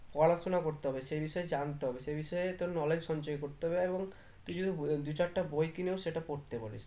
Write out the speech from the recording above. পড়াশোনা করতে হবে সেই বিষয়ে জানতে হবে সেই বিষয় তোর knowledge সঞ্চয় করতে হবে এবং তুই যদি দুই চারটে বই কিনেও সেটা পড়তে পারিস